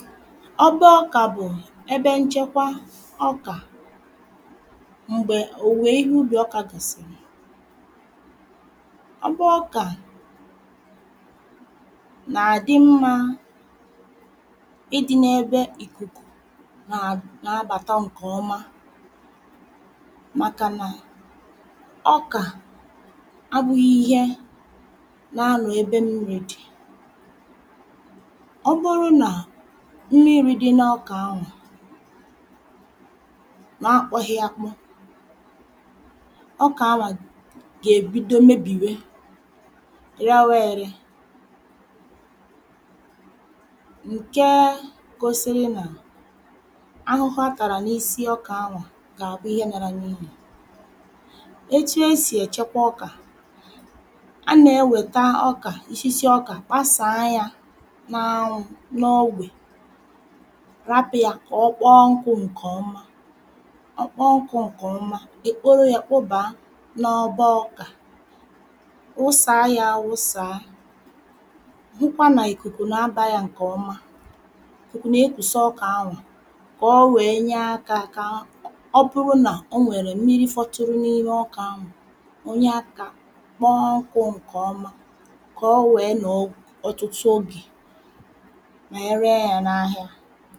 ọba ọkà bụ̀ ebe nchekwa ọkà m̀gbè òwùwè ihe ubì ọkà gàsìrì. ọba ọkà nà-àdị mmȧ ịdị̇ n’ebe ìkùkù nà nà-abàta ǹkèọma màkà nà ọkà abụ̇ghị̇ ihe na-ano ebe m̀miri dì. ọ bụrụ nà mmiri dị n’ọkà ahụ naa akpọghi akpo ọkà ahụ gà-èbido mebìwe rewa ère. nke gosiri nà ahụhụ a tàrà n’isi ọkà ahụ gà-àbụ ihe nara n’ihì. etu esì èchekwa ọkà a nà-ewèta ọkà isisi ọkà kpasàa ya nà anwụ̇ n’ogbè rapụ̇ yà kà ọ kpaa nkụ̇ ǹkèọma. ọ kpọọ nkụ̇ ǹkèọma èkporo yȧ kpụbàa n’ọgba ọkà wụsàa yȧ awụsàa hụkwa nà ìkùkù nà abȧ yȧ ǹkèọma ìkù nà ekwùsa ọkà anwà kà ọ wèe nye akȧ kà ọ bụrụ nà o nwèrè mmiri fọtụrụ n’ime ọkà anwà onye akȧ kpọọ nkụ̇ ǹkèọma kà ọ wèe nọ̀ọ ọtụtụ ogè wéé re ya nà áhiá